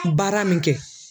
Baara min kɛ.